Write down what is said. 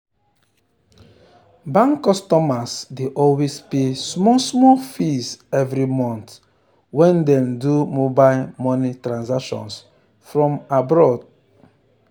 bank customers dey always pay small small fees every month when dem do mobile money transactions from abroad.